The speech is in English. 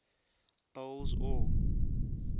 boles aw